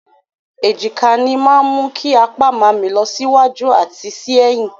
Èjìká ní máa mú kí apá máa mì lọ sí wájú àti sí ẹ̀yìn.